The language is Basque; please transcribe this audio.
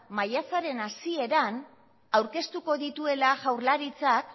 maiatzaren hasieran aurkeztuko dituela jaurlaritzak